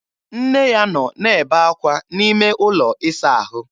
Nne ya nọ na-ebe ákwá n'ime ụlọ ịsa ahụ.